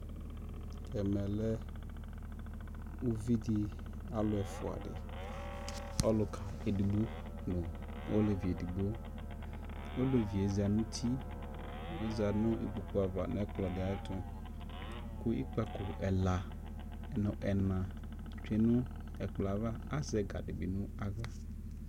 ɛmɛ lɛ ʋvi di, alʋ ɛƒʋa di, ɔlʋka ɛdigbɔ nʋ ɔlɛvi ɛdigbɔ, ɔlɛviɛ zanʋ ʋti, ɔza nʋ ikpɔkʋ aɣa nʋ ɛkplɔ di ayɛtʋ kʋ ikpakɔ ɛla nʋ ɛna twɛ nʋ ɛkplɔɛ aɣa, azɛ ɛga bi nʋ ala